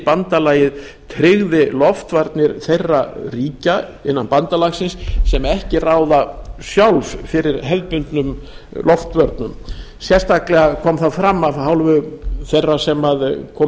bandalagið tryggði loftvarnir þeirra ríkja innan bandalagsins sem ekki ráða sjálf fyrir hefðbundnum loftvörnum sérstaklega kom það fram af hálfu þeirra sem komu